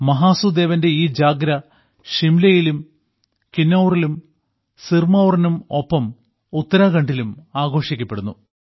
മഹാസു ദേവന്റെ ഈ ജാഗ്ര ഷിംലയിലും കിന്നൌറിലും സിർമൌറിനും ഒപ്പം ഉത്തരാഖണ്ഡിലും ആഘോഷിക്കപ്പെടുന്നു